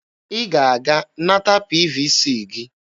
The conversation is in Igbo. Ị ga-aga nata PVC gị!